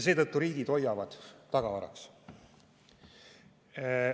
Seetõttu hoiavad riigid neid tagavaraks.